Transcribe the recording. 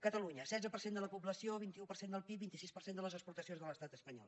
catalunya setze per cent de la població vint un per cent del pib vint sis per cent de les exportacions de l’estat espanyol